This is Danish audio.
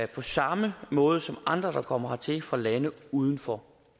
på samme måde som andre der kommer hertil fra lande uden for